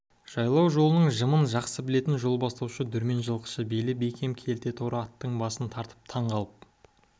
жайлау жолының жымын жақсы білетін жол бастаушы дүрмен жылқышы белі бекем келте торы аттың басын тартып таң қалып